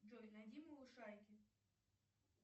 джой найди малышарики